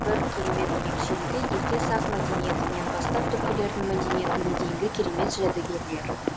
бір керемет ерекшелігі ерте сақ мәдениетінен бастап түркілердің мәдениетіне дейінгі керемет жәдігерлер